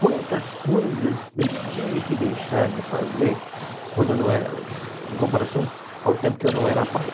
Quantas coisas eu tive que deixar de fazer quando eu não era, em comparação ao tempo que eu não era pai.